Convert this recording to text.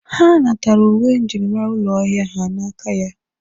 Ha natara uwe njirimara ụlọ ahịa ha n'aka ya.